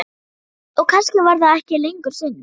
Og kannski var það ekki lengur synd.